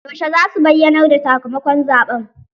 Yaushe za su bayyanar da sakamakon zaɓen?